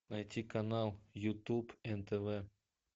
найти канал ютуб нтв